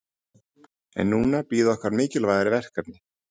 En núna bíða okkar mikilvægari verkefni.